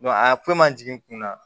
a ko ma jigin n kun na